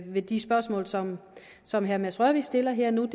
ved de spørgsmål som som herre mads rørvig stiller her og nu er